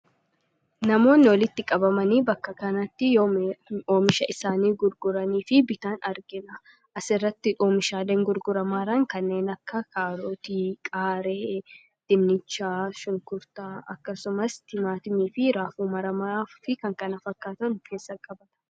Namoonni walitti qabamanii bakka kanatti, oomisha isaanii gurguranii fi bitan argina. As irratti oomishaaleen gurguramaa jiran kanneen akka: kaarootii, qaaraa, dinnicha, shunkurtaa akkasumas timaatimii fi raafuu maramaa fi kan kana fakkaatan of keessatti qabata.